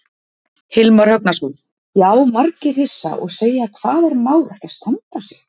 Hilmar Högnason: Já, margir hissa og segja hvað er Már ekki að standa sig?